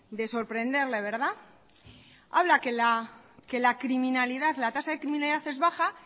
de sorprenderle habla que la tasa de criminalidad es baja